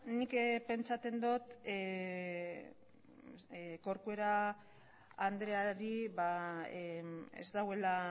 nik pentsatzen dut corcuera andreari ez dagoela